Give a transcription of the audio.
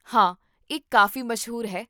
ਹਾਂ, ਇਹ ਕਾਫ਼ੀ ਮਸ਼ਹੂਰ ਹੈ